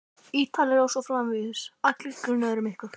Ítalir. og svo framvegis, allir grunaðir um eitthvað.